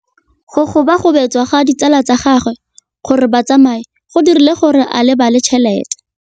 Go gobagobetsa ga ditsala tsa gagwe, gore ba tsamaye go dirile gore a lebale tšhelete.